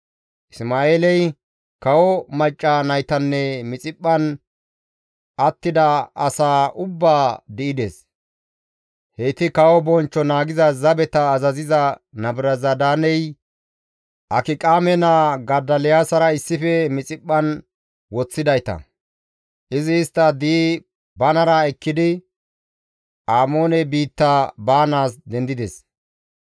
Isma7eeley kawo macca naytanne Mixiphphan attida asaa ubbaa di7ides. Heyti Kawo bonchcho naagiza zabeta azaziza Nabuzaradaaney Akiqaame naa Godoliyaasara issife Mixiphphan woththidayta. Izi istta di7i banara ekkidi Amoone biitta baanaas dendides.